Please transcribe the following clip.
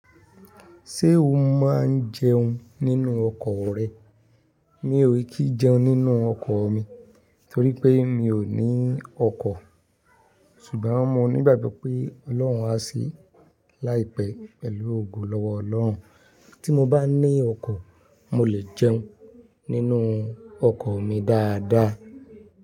Ṣé o máa ń jẹun nínú ọkọ rẹ? Mi ò kí jẹun nínú ọkọ mi torí pé mi ò ní ọkọ. Ṣùgbọ́n mo nígbàgbọ́ pé Ọlọ́run á ṣe láìpẹ́ pẹ̀lú ògo lọ́wọ́ Ọlọ́run. Tí mo bá ní ọkọ, mo lè jẹun nínú ọkọ mi dáadáa.